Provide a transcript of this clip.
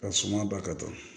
Ka suma ba ka kan